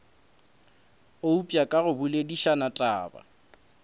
eupša ka go boledišana taba